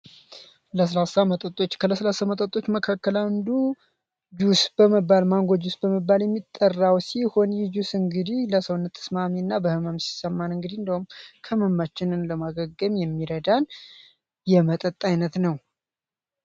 ለስላሳ መጠጦች ከለስላሳ መጠጦች ውስጥ አንዱ ማንጎ ጁስ በመባል የሚጠራው ሲሆን ይህ ጁስ እንግዲህ ለሰውነት ተስማሚ እንዲሁም ህመም ሲሰማን ከህመማችን ለማገገም የሚረዳን የመጠጥ አይነት ነው።